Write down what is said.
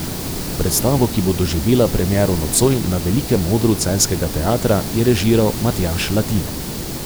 Predstavo, ki bo doživela premiero nocoj na velikem odru celjskega teatra, je režiral Matjaž Latin.